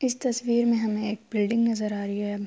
اس تشویر مے ہمیں ایک بلڈنگ نظر آ رہی ہے۔